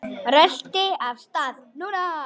Röltir af stað.